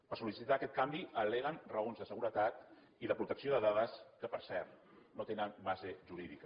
per sol·licitar aquest canvi alleguen raons de seguretat i de protecció de dades que per cert no tenen base jurídica